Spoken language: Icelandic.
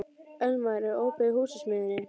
Elmar, er opið í Húsasmiðjunni?